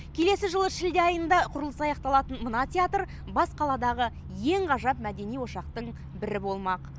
келесі жылы шілде айында құрылысы аяқталатын мына театр бас қаладағы ең ғажап мәдени ошақтың бірі болмақ